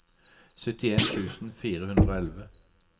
syttien tusen fire hundre og elleve